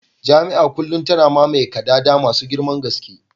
Jami'a a kullum tana mamaye kadada masu girman gaske